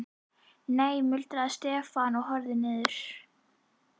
Nei muldraði Stefán og horfði niður.